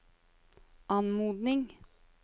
anmodning